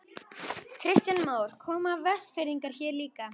Kristján Már: Koma Vestfirðingar hér líka?